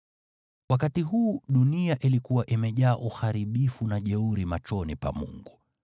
Wakati huu dunia ilikuwa imejaa uharibifu na ukatili machoni pa Mungu.